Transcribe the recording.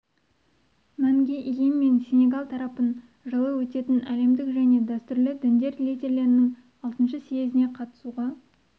мәнге ие мен сенегал тарапын жылы өтетін әлемдік және дәстүрлі діндер лидерлерінің алтыншы съезіне қатысуға